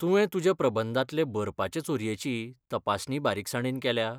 तुवें तुज्या प्रबंधांतले बरपाचे चोरयेची तपासणी बारीकसाणेन केल्या?